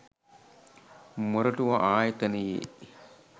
මොරටුව ආයතනයේ